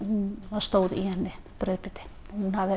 það stóð í henni brauðbiti hún hafði